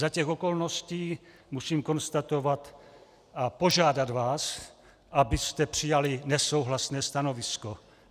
Za těch okolností musím konstatovat a požádat vás, abyste přijali nesouhlasné stanovisko.